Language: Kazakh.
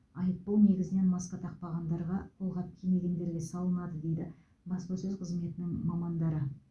айыппұл негізінен маска тақпағандарға қолғап кимегендерге салынады дейді баспасөз қызметінің мамандары